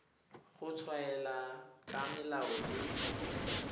go tshwaela ka melao le